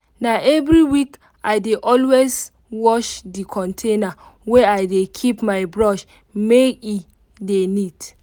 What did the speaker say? na every week i dey always wash the container wey i dey keep my brush make e dey neat.